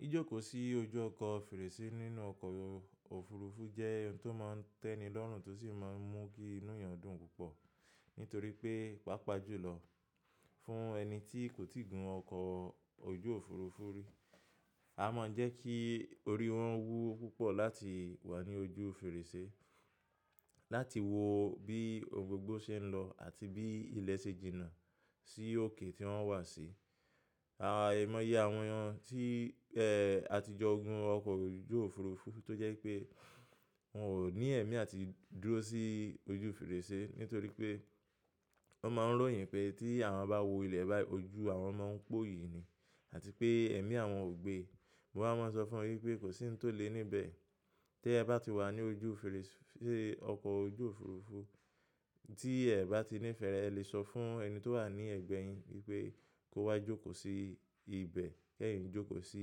Jijókòó sí ojú ọkọ̀ fèrèsé nínú ọkọ̀ òfurufú jẹ́ in tó máa ń tẹ́ni lọ́rùn tó sì máa ń mú kí inú èèyàn dùn púpọ̀ nítorí pé, pàápàá jùlọ fún ẹni tí kò tíì gun ọkọ̀ ojú òfurufú rí, a máa ń jẹ́ kí orí wọn wú púpọ̀ láti wà ní ojú fèrèsé, láti wo bí ohun gbogbo ṣe ń lọ àti bí ilẹ̀ ṣe jìnà sí òkè tí wọ́n wà sí. Àìmọ̀ye àwọn tí, ẹ, àtijọ́ gun ọkọ̀ ojú òfurufú tó jẹ́ pé wọn ò ní ẹ̀mí àti dúró sí ojú fèrèsé nítorí pé wọ́n máa ń ròyìn pé tí àwọn bá wo ilẹ̀ báyìí ojú àwọn máa ń pó yìí ni àti pé ẹ̀mí àwọn ò gbe. Mo máa má sọ fún ọ wípé kò sí ń tó lé níbẹ̀. Tẹ é bá ti wà ní ojú fèrèsé ọkọ̀ ojú òfurufú tí ẹ bá ti nífẹ̀ẹ́, ẹ lè sọ fún ẹni tó wà ní ẹ̀gbẹ́ ẹ yín wípé kó wá jókòó sí ibẹ̀ kí ẹ̀yin jókòó sí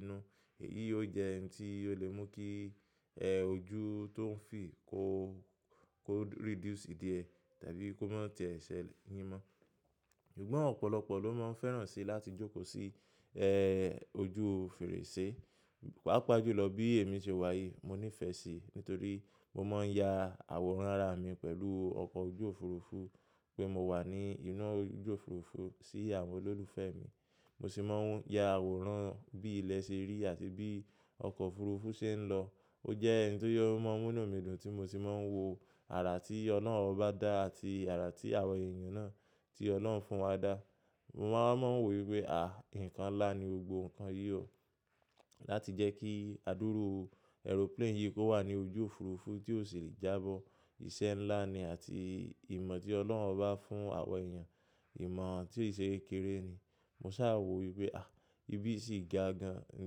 inú. Èyí ó jẹ́ in tí ó lè mú kí, ẹ, ojú tó ń fì kó, kó reduce díẹ̀ tàbí kó má tẹ̀ ẹ́ ṣe yìn mó. Sugbon òpòlopọ̀ ló máa ń fẹ́ràn sí láti jókòó sí, ẹ, ojú fèrèsé. Pàápàá jùlọ bí èmi ṣe wà yìí mo nífẹ̀ẹ́ sí nítorí mo máa ń ya àwòrán ara mi pẹ̀lú ọkọ̀ ojú òfurufú pé mo wà ní inú ojú òfurufú sí àwọn olólùfẹ́ mi. Mo sì máa ń ya àwòrán bí ilẹ̀ ṣe rí àti bí ọkọ̀ òfurufú ṣe ń lọ. Ó jẹ́ oun tó yóò máa mú inú mi dùn tí mo sì máa ń wo àrà tí Ọlọ́run bá dá àti àrà tí àwọn èèyàn náà tí Ọlọ́run fún wọn dá. Mo wa máa ń wò wípé à, nǹkan ńlá ni gbogbo nǹkan yìí o. Láti jẹ́ kí àdúrú aeroplane yìí kó wà ní ojú òfurufú tí ó sì lè jábọ̀, iṣẹ́ ńlá ni àti ìmọ̀ tí Ọlọ́run obá fún àwa èèyàn, ìmọ̀ tí e ṣe kekere ni. Mo sá wò wípé à, ibí yìí sì ga gan-an, nǹ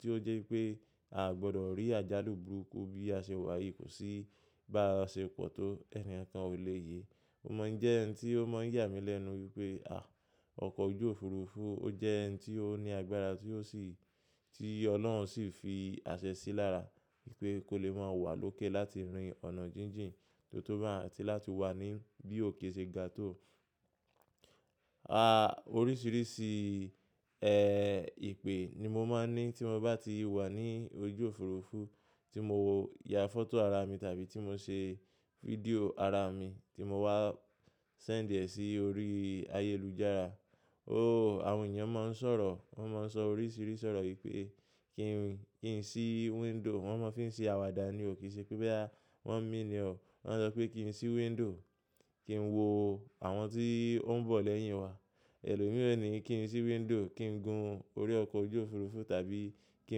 tí ó jẹ́ pé a gbọ́dọ̀ rí àjálù burúkú bí a ṣe wà yìí kò sí bá ṣe pọ̀ tó ẹni kan ò lè yé. Ó má ń jẹ́ ǹ tí ó máa ń yà mí lẹ́nu wípé à, ọkọ̀ ojú òfurufú ó jẹ́ ǹ tí ó ní agbára tí ó sì, tí Ọlọ́run sì fi àṣẹ sí lára pé kó lè máa wà lókè láti rin ọ̀nà jíjìn tó tó báun, àti láti wà ní bí òkè ṣe ga tó. A, oríṣìíríṣìí, ẹ, ìpè ni mo máa ń ní tí mo bá ti wà ní ojú òfurufú tí mo ya fọ́tò ara mi tàbí tí mo ṣe fídíò ara mi tí mo wá send ẹ sí orí ayélujára. Ó, àwọn èèyàn máa ń sọ̀rọ̀, wọ́n máa ń sọ oríṣìíríṣìí ọ̀rọ̀ yìí pé kí n, kí n sí window, wọ́n máa ń fi ń ṣe àwàdà ní o ki ṣe pé boya wọ́n mean e o. Wọ́n sọ pé kí n sí window, kí n wo àwọn tí ó ń bọ̀ lẹ́yìn wa. Ẹlòmíìràn ni kí n sí window, kí n gun orí ọkọ̀ ojú òfurufú tàbí kí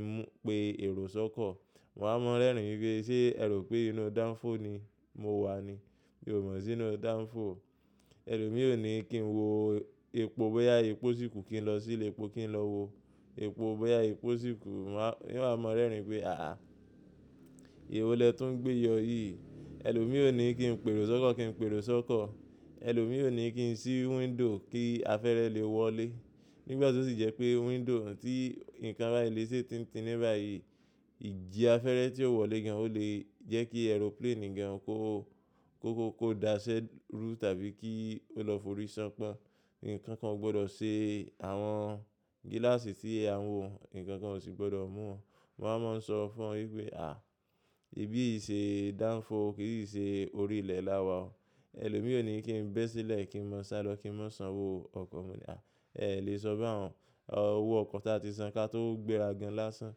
n mú, pe èrò sọ́kọ̀. Mo wa máa ń rẹ́rìn ín wípé ṣé ẹ rò pé inú danfo ni mo wà ni? Mi ò mọ̀ sí inú danfo. Ẹlòmíìràn o ni kí n wo epo bóyá epo síkù kí n lọ sí ilẹ̀ epo kí n lọ wo epo bóyá epo síkù. Mo máa, n wa mọ́ rẹ́rìn pé àá, èwo lẹ tún gbé yọ yìí. Ẹlòmíìràn ni kí n pe èrò sọ́kọ̀ kí n pe èrò sọ́kọ̀. Ẹlòmíìràn ni kí n sí window kí afẹ́rẹ lè wọlé. Nígbà tó sì jẹ́ pé window tí ǹkan bá lè ṣe tín tin ní báyìí, ìji afẹ́rẹ tí ó wọlé gan-an ó lè jẹ́ kí aeroplane gan kó, kó, kó daṣẹ́ rú tàbí kí ó lọ forí ṣánpọ́n. Nkankan gbọ́dọ̀ ṣe àwọn gíláàsì tí à ń wò, ǹkan kan ò sì gbọ́dọ̀ mú wọn. Mo wa máa ń sọ fún wọn wípé à, ìbí yìí ṣe danfo kì í si ṣe orí ilẹ̀ láwa o. Ẹlòmíìràn ni kí n bẹ́ sílẹ̀ kí n máa sá lọ kí n máa san wò ọkọ̀. Mo ní à, ẹ lè sọ baun, a, owo ọkọ̀ tí a ti san ká tó gbéra gan láásán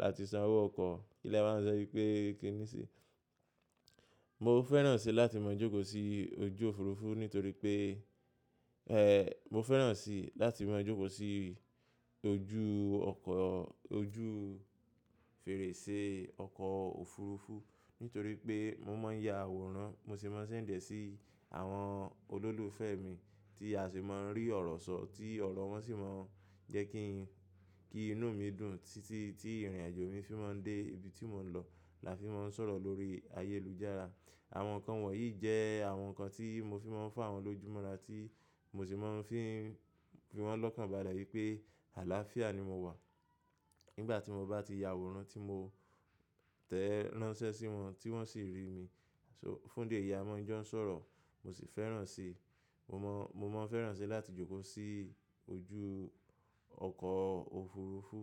láti san owó ọkọ̀. Ilẹ̀ a máa ń jẹ́ wípé kíní sí. Mo fẹ́ràn sí láti máa jókòó sí ojú òfurufú nítorí pé, ẹ, mo fẹ́ràn sí láti máa jókòó sí ojú ọkọ̀, ojú fèrèsé ọkọ̀ òfurufú nítorí pé mo máa ń ya àwòrán, mo sì máa ń send ẹ sí àwọn olólùfẹ́ mi tí a sì máa ń rí ọ̀rọ̀ sọ̀ tí ọ̀rọ̀ wọn sì máa ń jẹ́ kí, kí inú mi dùn títí tí ìrìnàjò mi fi máa ń dé ibi tí mò ń lọ la fi máa ń sọ̀rọ̀ lórí ayélujára. Àwọn nǹkan wọ̀nyí jẹ́ àwọn nǹkan tí mo fi máa ń fún àwọn lójúmọ́ rà tí mo sì máa ń fi ń fi wọ́n lọ́kàn bále wípé àlàáfíà ni mo wà nígbà tí mo bá ti ya àwòrán tí mo tẹ́ ránṣẹ́ sí wọn tí wọ́n sì rí mi. So fun'di eyi máa ń jọ ń sọ̀rọ̀. Mo sì fẹ́ràn si, mo mọ̀, mo máa ń fẹ́ràn sí láti jókòó sí ojú ọkọ̀ òfurufú.